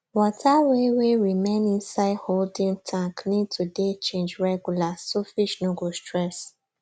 water wey wey remain inside holding tank need to dey change regular so fish no go stress